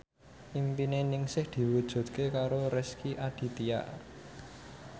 impine Ningsih diwujudke karo Rezky Aditya